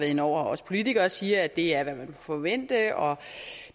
inde over og også politikere sige at det er hvad man forvente og